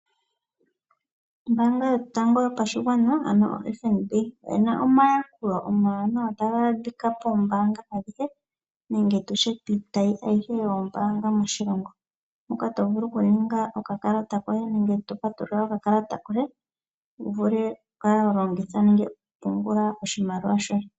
Ombaanga yotango yopashigwana ano FNB oyina omayalulo omawanawa taga adhika poombaanga adhihe nenge tutye piitayi ayihe yoombanga moshilongo moka tovulu okuninga okalata koye nenge tovulu okupewa okakalata koye uvule wuvule okukala wa longitha nenge okupungula oshimaliwa shoye.